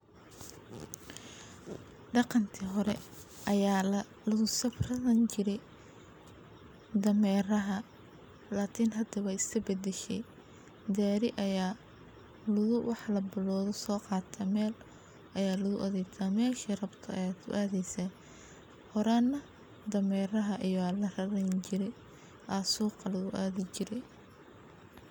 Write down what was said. Daqanki hore aya lagu safari jire dameraha lakin hada wey is badashe gariga aya waxaa rabto kusameysaneysa aya suqa lagu adaya horana dameraha aya lagu adhi jire.